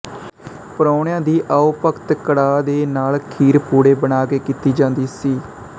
ਪ੍ਰਾਹੁਣਿਆਂ ਦੀ ਆਓ ਭਗਤ ਕੜਾਹ ਦੇ ਨਾਲ ਖੀਰ ਪੂੜੇ ਬਣਾ ਕੇ ਕੀਤੀ ਜਾਂਦੀ ਸੀ